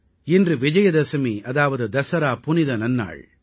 இன்று விஜயதஸமி அதாவது தஸரா புனித நன்னாள்